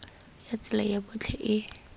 ya tsela ya botlhe e